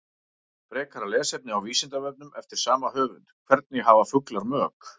Frekara lesefni á Vísindavefnum eftir sama höfund: Hvernig hafa fuglar mök?